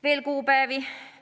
Veel kuupäevi.